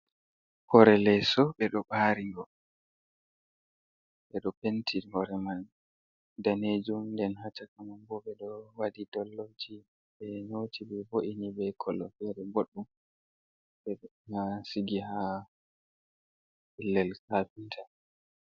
Hore leso ɓedo ɓarigo, ɓeɗo penti hore man danejum, & ɗen hashakaman bo ɓedo wadi dol'lofji ɓe nyoti ɓe vo’ini be kolo fere boɗdum ɓedo sigi ha pellel kafinta.